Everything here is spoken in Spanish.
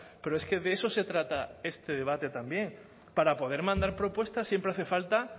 pero es que de eso se trata este debate también para poder mandar propuestas siempre hace falta